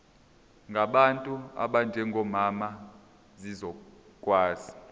ngabantu abanjengomama zizokwazi